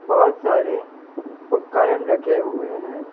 बहुत सारे उपकरण रखे हुए हैं।